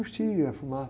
Curtia fumar.